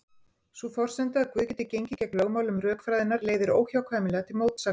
Sú forsenda að Guð geti gengið gegn lögmálum rökfræðinnar leiðir óhjákvæmilega til mótsagnar.